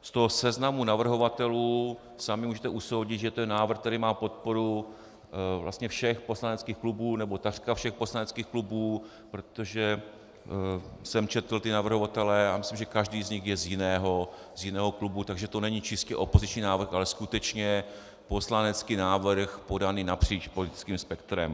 Z toho seznamu navrhovatelů sami můžete usoudit, že to je návrh, který má podporu vlastně všech poslaneckých klubů, nebo takřka všech poslaneckých klubů, protože jsem četl ty navrhovatele a myslím, že každý z nich je z jiného klubu, takže to není čistě opoziční návrh, ale skutečně poslanecký návrh podaný napříč politickým spektrem.